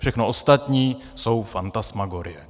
Všechno ostatní jsou fantasmagorie.